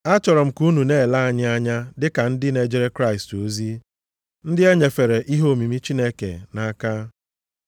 Achọrọ m ka unu na-ele anyị anya dịka ndị na-ejere Kraịst ozi, ndị e nyefere ihe omimi Chineke nʼaka.